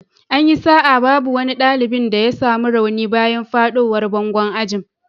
An yi sa'a babu wani dalibi da ya samu rauni bayan fadowar bangon ajin.